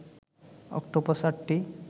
octopus আটটি